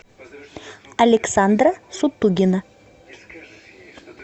александра сутугина